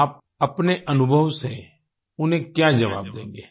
आप अपने अनुभव से उन्हें क्या जवाब देंगें